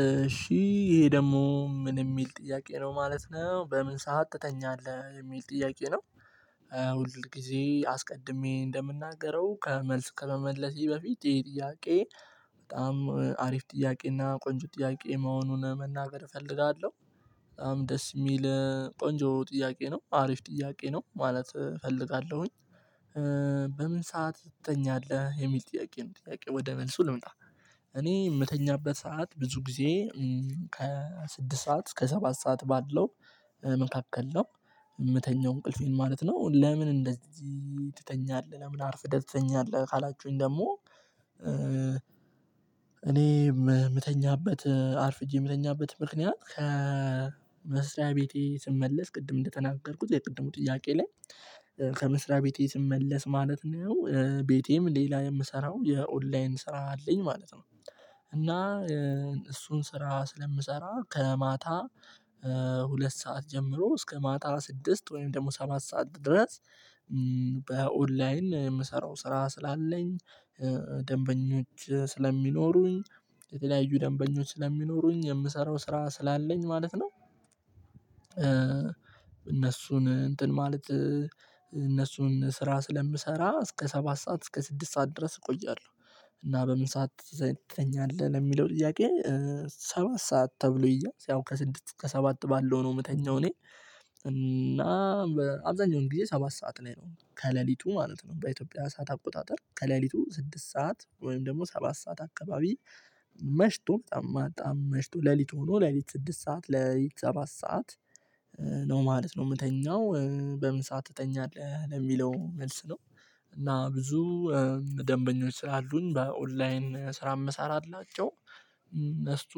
እሺ ይሄ ደግሞ ምን የሚል ጥያቄ ነው ማለት ነው በምን ሰዓት ትተኛለህ የሚል ጥያቄ ነው? ሁል ጊዜ አስቀድሜ እንደምናገረው ከመልስ ከመመለሴ በፊት የጥያቄ በጣም አሪፍ ጥያቄ እና ቆንጆ ጥያቄ መሆኑን መናገር እፈልጋለሁ። ደስ የሚል ቆንጆ ጥያቄ ነው አሪፍ ጥያቄ ነው ማለት እፈልጋለሁኝ። በምን ሰዓት ትተኛለህ የሚል ጥያቄ ጥያቄ ወደ መልሱ ልምጣ። እኔ የምተኛበት ሰዓት ብዙ ጊዜ ከስድስት ሰዓት እስከ ሰባት ሰዓት ባለው መካከል ነው። የምተኛው እንቅልፌን ማለት ነው ለምን እንደዚህ ትተኛለህ ለምን አርፍደህ ተኛለህ ካላችሁኝ ደግሞ? እኔ የምተኛበት አርፍጄ የምተኛበት ምክንያት ከመስሪያ ቤቴ ስመለስ ቅድም እንደተናገርኩት የቅድሙ ጥያቄ ላይ ከመስሪያ ቤቴ ስመለስ ማለት ነው ቤቴም ሌላ የምሰራው የኦንላይን ስራ አለኝ ማለት ነው። እና እሱን ስራ ስለምሰራ ከማታ ሁለት ሰዓት ጀምሮ እስከ ማታ ስድስት ወይም ደግሞ ሰማት ሰዓት ድረስ በኦንላይን የምሰራው ስራ ስላለኝ ደንበኞች ስለሚኖሩኝ የተለያዩ ደንበኞች ስለሚኖሩኝ የምሰራው ስራ ስላለኝ ማለት ነው። እነሱን እንትን ማለት እነሱን ስራ ስለምሰራ እስከ ሰባት ሰዓት እስከ ስድስት ሰዓት ድረስ እቆያለሁ። እና በምን ሰዓት ዘጠኝ አለ ለሚለው ጥያቄ ሰባት ሰዓት ተብሎ ይያዝ ያው ከስድስት ከሰባት ባለው ነው የምተኛው እኔ። እና አብዛኛውን ጊዜ ሰባት ሰዓት ላይ ነው ከሌሊቱ ማለት ነው በኢትዮጵያ ሰዓት አቆጣጠር ከሌሊቱ ስድስት ሰዓት ወይም ደግሞ ሰባት ሰዓት አካባቢ መሽቶ በጣም በጣም መሽቶ ሌሊት ሆኖ ሌሊት ስድስት ሰዓት ሌሊት ሰባት ሰዓት። ነው ማለት ነው የምተኛው በምን ሰዓት ትተኛለህ ለሚለው መልስ ነው። እና ብዙ ደንበኞች ስላሉኝ በኦንላይን ስራ መሰራላቸው እነሱ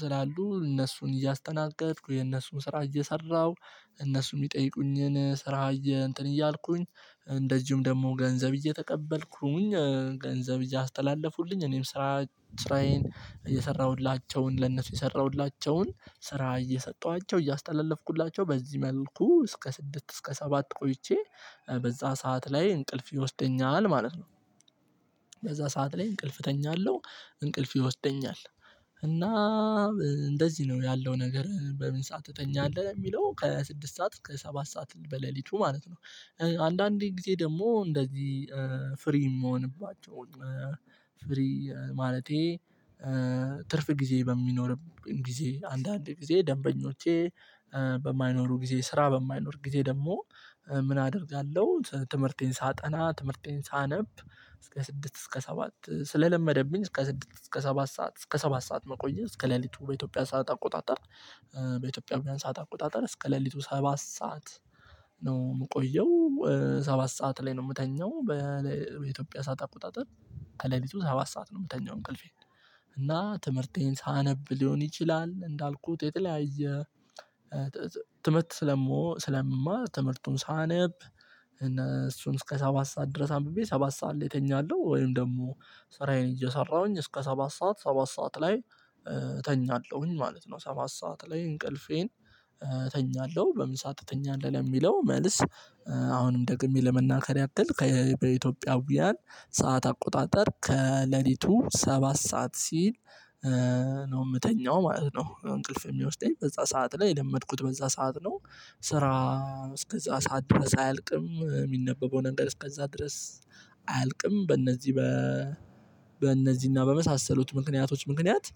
ስላሉ እነሱን እያስተናገድኩ የነሱን ስራ እየሰራሁ እነሱም የሚጠይቁኝን ስራ እየእንትን እያልኩኝ እንደዚሁም ደግሞ ገንዘብ እየተቀበልኩኝ ገንዘብ እያስተላለፉልኝ እኔም ስራ ስራዬን እየሰራሁላቸውን ለነሱ የሰራሁላቸውን ስራ እየሰጠኋቸው እያስተላለፍኩላቸው በዚህ መልኩ እስከ ስድስት እስከ ሰባት ቆይቼ በዛ ሰዓት ላይ እንቅልፍ ይወስደኛል ማለት ነው። በዛ ሰዓት ላይ እንቅልፍ እተኛለሁ እንቅልፍ ይወስደኛል። እና እንደዚህ ነው ያለው ነገር በምን ሰዓት ትጠኛለህ የሚለው ከስድስት ሰዓት ከሰባት ሰዓት በሌሊቱ ማለት ነው። አንዳንዴ ጊዜ ደግሞ እንደዚህ ፍሪ የምሆንባቸው ፍሪ ማለቴ ትርፍ ጊዜ በሚኖርም ጊዜ አንዳንድ ጊዜ ደንበኞቼ በማይኖሩ ጊዜ ስራ በማይኖር ጊዜ ደግሞ። ምን አደርጋለሁ ትምህርቴን ሳጠና ትምህርቴን ሳነብ። እስከ ስድስት እስከ ሰባት ስለለመደብኝ እስከ ስድስት እስከ ሰባት ሰዓት እስከ ሰባት ሰዓት መቆየት እስከ ሌሊቱ በኢትዮጵያ ሰዓት አቆጣጠር በኢትዮጵያ ሰዓት አቆጣጠር እስከ ሌሊቱ ሰባት ሰዓት ነው የምቆየው። ሰባት ሰዓት ላይ ነው የምተኛው። በኢትዮጵያ ሳት አቆጣጠር ከሌሊቱ ሰባት ሰዓት ነው የምተኛው እንቅልፌ። እና ትምህርቴን ሳነብ ሊሆን ይችላል እንዳልኩት የተለያየ የትምህርት ስለምማ ትምህርቱን ሳነብ። እና እሱን እስከ ሰባት ሰዓት ድረስ አንብቤ ሰባት ሰዓት ላይ እተኛለሁ ወይም ደግሞ ስራዬን እየሰራሁኝ እስከ ሰባት ሰዓት ሰባት ሰዓት ላይ እተኛለሁኝ ማለት ነው። ሰባት ሰዓት ላይ እንቅልፌን እተኛለሁ በምን ሰዓት እተኛለሁ መልስ። አሁንም ደግሜ ለመናገር ያክል ከበኢትዮጵያውያን ሰዓት አቆጣጠር ከሌሊቱ ሰባት ሰዓት ሲል ነው የምተኛው ማለት ነው። እንቅልፍ የሚያወስደኝ በዛ ሰዓት ላይ የለመድኩት በዛ ሰዓት ነው። ስራ እስከዛ ሰዓት ድረስ አያልቅም የሚነበበውን እንግዲህ እስከዛ ድረስ አያልቅም። በእነዚህ በ በእነዚህና በመሳሰሉት ምክንያቶች ምክንያት።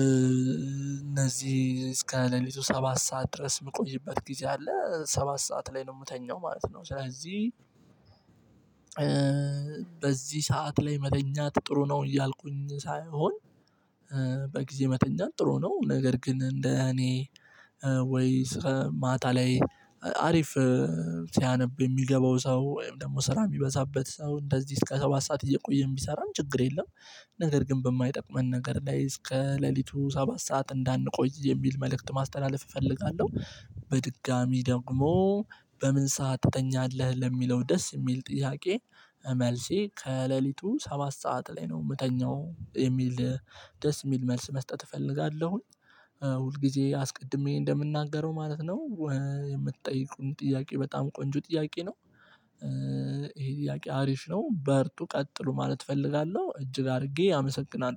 እነዚህ እስከ ሌሊቱ ሰባት ሰዓት ድረስ የምቆይበት ጊዜ አለ ሰባት ሰዓት ላይ ነው የምተኛው ማለት ነው። ስለዚህ በዚህ ሰዓት ላይ መተኛት ጥሩ ነው እያልኩኝ ሳይሆን። በጊዜ መተኛት ጥሩ ነው። ነገር ግን እንደ እኔ ወይ ስራ ማታ ላይ አሪፍ ሲያነብ የሚገባው ሰው ወይም ደግሞ ስራ የሚበዛበት ሰው እንደዚህ እስከ ሰባት ሰዓት እየቆየም ቢሰራም ችግር የለም። ነገር ግን በማይጠቅመን ነገር ላይ እስከ ሌሊቱ ሰባት ሰዓት እንዳንቆይ የሚል መልእክት ማስተላለፍ እፈልጋለሁ። በድጋሚ ደግሞ በምን ሰዓት ትተኛለህ ለሚለው ደስ የሚል ጥያቄ መልሴ ከሌሊቱ ሰባት ሰዓት ላይ ነው የምተኛው የሚል ደስ የሚል መልስ መስጠት እፈልጋለሁኝ። ሁል ጊዜ አስቀድሜ እንደምናገረው ማለት ነው። የምትጠይቁን ጥያቄ በጣም ቆንጆ ጥያቄ ነው። ይሄ ጥያቄ አሪፍ ነው በርቱ ቀጥሉ ማለት እፈልጋለሁ እጅግ አድርጌ አመሰግናለሁ